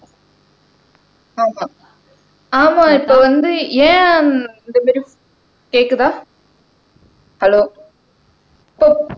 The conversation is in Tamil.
ஆமா ஆமா இப்ப வந்து ஏன் கேக்குதா ஹலோ